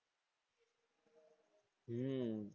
હમ